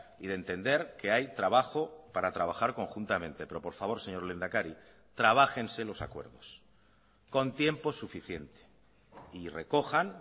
y de entender que hay trabajo para trabajar conjuntamente pero por favor señor lehendakari trabájense los acuerdos con tiempo suficiente y recojan